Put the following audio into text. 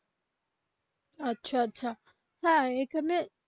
আচ্ছা আচ্ছা হ্যা এইখানে.